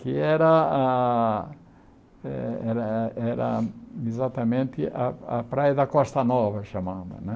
que era ah eh era era exatamente a a praia da Costa Nova, que chamava né.